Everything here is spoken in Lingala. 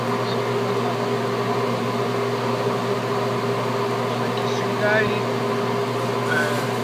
Liboso na nga awa na moni ba lakisi ngai